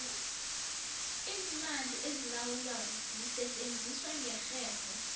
iimali ezilawulwako zisetjenziswa ngerherho